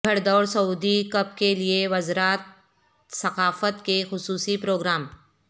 گھڑ دوڑ Saudi cup کے لیے وزارت ثقافت کے خصوصی پروگرام